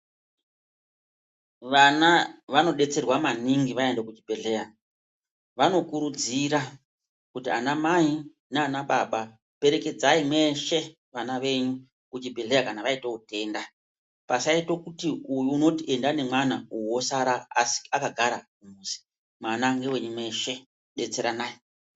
Vana vanodetserwa maningi vaenda kuchibhedhleya. Vanokurudzira kuti anamai naanababa perekedzai mweshe vana venyu kuchibhedhleya kana vaita utenda .Pasaita kuti uyu unoti enda nemwana uyu osara akagara mumuzi. Mwana ndewenyu mweshe ,detseranai.